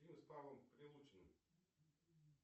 фильмы с павлом прилучным